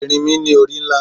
Erinmi ni ori nla